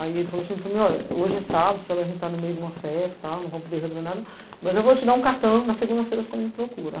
Aí ele falou assim para mim, ó, hoje é sábado, você vai estar no meio de uma festa, não vão poder resolver nada, mas eu vou te dar um cartão, na segunda-feira você me procura.